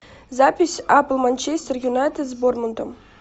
запись апл манчестер юнайтед с борнмутом